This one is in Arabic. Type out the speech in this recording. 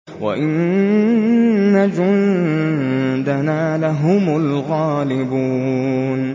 وَإِنَّ جُندَنَا لَهُمُ الْغَالِبُونَ